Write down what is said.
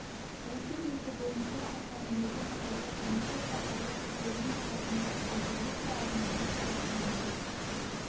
осы белгі бойынша арпаның екі қатарлы және көпқатарлы түрлерінің арасында айтарлықтай айырмашылық байқалмады